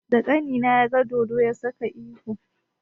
Da ƙanina ya ga dodo, ya saka ihu.